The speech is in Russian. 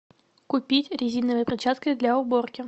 купить резиновые перчатки для уборки